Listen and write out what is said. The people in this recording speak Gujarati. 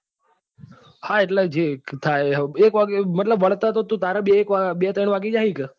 હા એટલે જે થાય એ એક વાગે મતલબ વળતે તો તું તારે બે ત્રણ વાગી જશે કે?